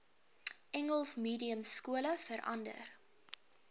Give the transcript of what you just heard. engels mediumskole verander